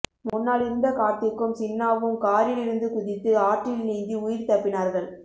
முன்னால் இருந்த கார்த்திக்கும் சின்னாவும் காரில் இருந்து குதித்து ஆற்றில் நீந்தி உயிர் தப்பினார்கள்